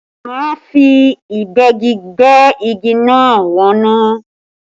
Má fi Ìgbẹ́gi gbẹ́ igi náà wọnú!